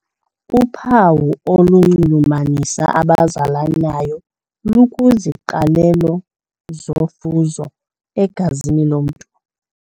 Uphawu olunxulumanisa abazalanayo lukwiziqalelo zofuzo egazini lomntu.